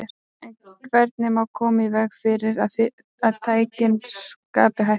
En hvernig má koma í veg fyrir að tækin skapi hættu?